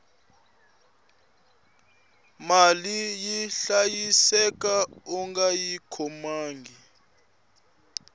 mali yi hlayiseka ungayi khomangi